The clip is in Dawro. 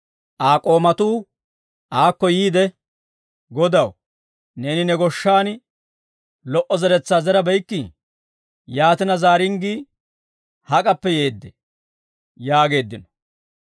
«Aa k'oomatuu aakko yiide, ‹Godaw, neeni ne goshshan lo"o zeretsaa zerabeykkii? Yaatina, zaaringgii hak'appe yeeddee?› yaageeddino.